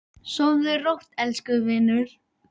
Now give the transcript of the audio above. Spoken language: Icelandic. Sofðu rótt, elsku vinur.